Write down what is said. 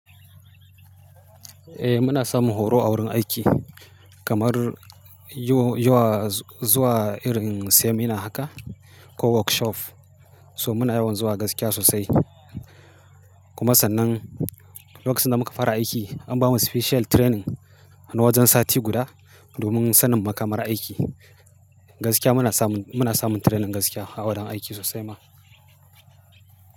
Eh muna samun horo a wurin aiki kamar yo-yowa zuwa irin seminar haka ko workshop. So muna yawan zuwa gaskiya sosai. Kuma sannan lokacin da muka fara aiki an bamu special training na wajen sati guda domin sanin makamar aiki. Gaskiya muna samu, muna samu training gaskiya a wurin aiki sosai ma.